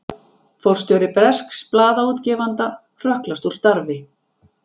Forstjóri bresks blaðaútgefanda hrökklast úr starfi